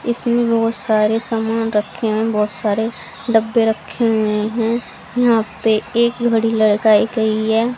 इसमें बहोत सारे सामान रखे हैं बहोत सारे डब्बे रखे हुए हैं यहां पर एक घड़ी लड़काई गई है।